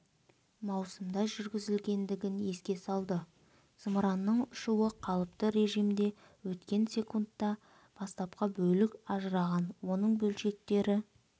маусымда жүргізілгендігін еске салды зымыранның ұшуы қалыпты режімде өткен секундта бастапқы бөлік ажыраған оның бөлшектері